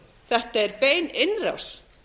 þetta er bein innrás